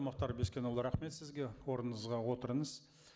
мұхтар бескенұлы рахмет сізге орныңызға отырыңыз